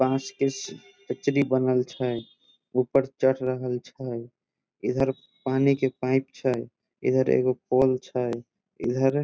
बांस के चचरी बनल छै ऊपर चढ़ रहल छै इधर पानी के पाइप छै इधर एगो पोल छै इधर --